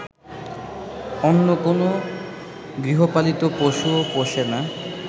অন্য কোনো গৃহপালিত পশুও পোষে না